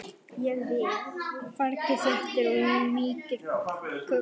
Fargið þéttir og mýkir kökuna.